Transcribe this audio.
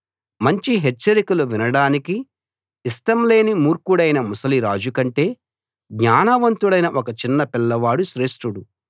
మంచి హెచ్చరికలు వినడానికి ఇష్టం లేని మూర్ఖుడైన ముసలి రాజుకంటే జ్ఞానవంతుడైన ఒక చిన్న పిల్లవాడు శ్రేష్ఠుడు